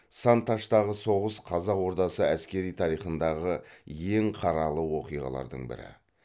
сан таштағы соғыс қазақ ордасы әскери тарихындағы ең қаралы оқиғалардың бірі